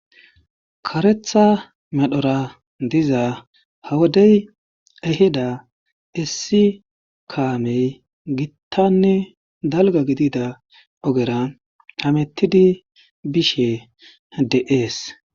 karetha medhora diza hawodey eheda issi kaamey gittanne dalga gidida ogera hamettidi bishe de'ees